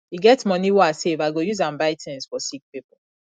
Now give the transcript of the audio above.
e get moni wey i save i go use am buy tins for sick pipo